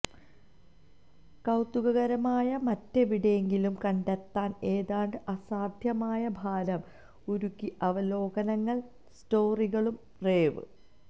കൌതുകകരമായ മറ്റെവിടെയെങ്കിലും കണ്ടെത്താൻ ഏതാണ്ട് അസാധ്യമാണ് ഭാരം ഉരുകി അവലോകനങ്ങൾ സ്റ്റോറികളും റേവ്